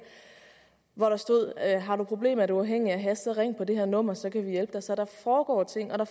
hvor der stod at har du problemer er du afhængig af hash så ring på det her nummer så vi kan hjælpe dig så der foregår ting og